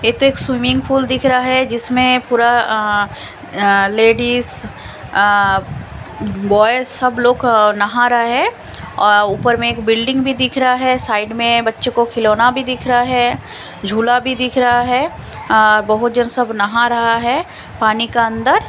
swimming pool दिख रहा है जिसमें पूरा अ लेडिस अ ब्याज सब लोग नहा रहा है ऊपर में बिल्डिंग भी दिख रहा है साइड में बच्चों को खिलौने भी दिख रहा है झूला भी दिख रहा बहोत जन सब नहा रहा है पानी का अंदर--